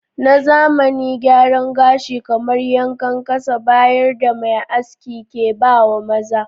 Na zamani gyara gashi kamar yankan kasa bayar da m da mai aski ke ba wa maza.